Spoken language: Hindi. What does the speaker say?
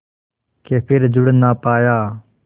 के फिर जुड़ ना पाया